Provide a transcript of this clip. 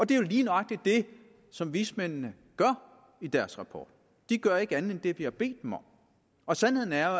det er jo lige nøjagtig det som vismændene gør i deres rapport de gør ikke andet end det vi har bedt dem om og sandheden er